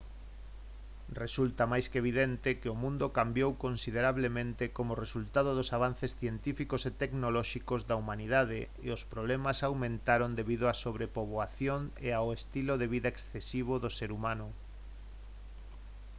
resulta máis que evidente que o mundo cambiou considerablemente como resultado dos avances científicos e tecnolóxicos da humanidade e os problemas aumentaron debido á sobrepoboación e ao estilo de vida excesivo do ser humano